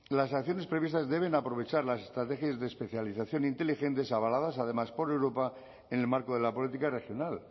las acciones previstas deben aprovechar las estrategias de especialización inteligentes avaladas además por europa en el marco de la política regional